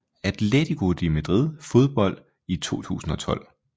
Atletico de Madrid Fodbold i 2012